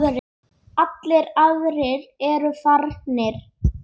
Allir aðrir eru farnir.